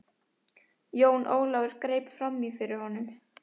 Jón Ólafur greip framí fyrir honum.